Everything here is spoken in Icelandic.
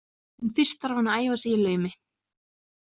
En fyrst þarf hann að æfa sig í laumi.